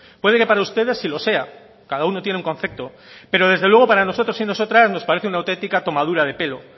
puede que para ustedes sí lo sea cada uno tiene un concepto pero desde luego para nosotros y nosotras nos parece una auténtica tomadura de pelo